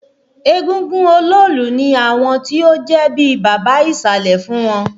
Égúngún Oloolu ní àwọn ti ó jẹ́ bíi baba ìsàlẹ̀ fún wọn